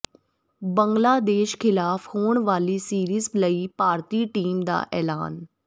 ਬੰਗਲਾਦੇਸ਼ ਖਿਲਾਫ਼ ਹੋਣ ਵਾਲੀ ਸੀਰੀਜ਼ ਲਈ ਭਾਰਤੀ ਟੀਮ ਦਾ ਐਲਾਨ